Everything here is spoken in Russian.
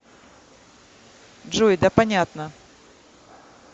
джой да понятно